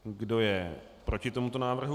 Kdo je proti tomuto návrhu?